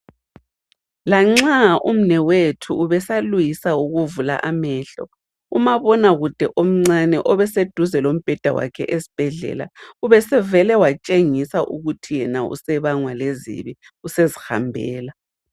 Lanxa umnewethu ubesalwisa ukuvula amehlo, umabona kude omncane obeseduze lombheda wakhe esibhedlela ubesevele watshengisa ukuthi yena usebangwa lezibi usezihambela.